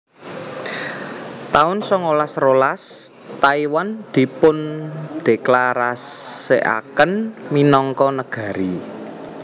taun songolas rolas Taiwan dipundéklarasèkaken minangka negari